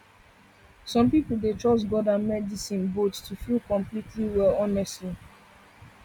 some people dey trust god and medicine both to feel completely well honestly